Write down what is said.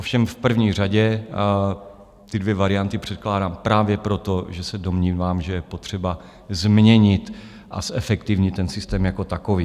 Ovšem v první řadě ty dvě varianty předkládám právě proto, že se domnívám, že je potřeba změnit a zefektivnit ten systém jako takový.